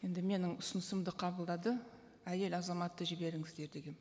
енді менің ұсынысымды қабылдады әйел азаматты жіберіңіздер дегенмін